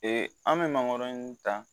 an bɛ mangoro ta